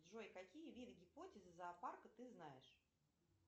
джой какие виды гипотезы зоопарка ты знаешь